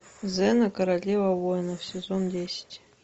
зена королева воинов сезон десять